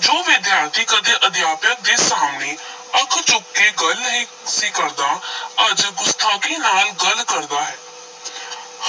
ਜੋ ਵਿਦਿਆਰਥੀ ਕਦੇ ਅਧਿਆਪਕ ਦੇ ਸਾਹਮਣੇ ਅੱਖ ਚੁੱਕ ਕੇ ਗੱਲ ਨਹੀਂ ਸੀ ਕਰਦਾ ਅੱਜ ਗੁਸਤਾਖ਼ੀ ਨਾਲ ਗੱਲ ਕਰਦਾ ਹੈ